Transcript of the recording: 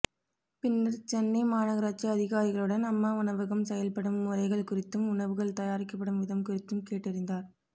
பின்னர் சென்னை மாநகராட்சி அதிகாரிகளுடன் அம்மா உணவகம் செயல்படும் முறைகள் குறித்தும் உணவுகள் தயாரிக்கப்படும் விதம் குறித்தும் கேட்டறிந்தார்